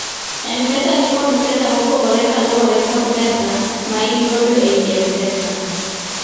mpesa nikodpesa mapogore kaluore kod pesa ma in kodo ei mpesa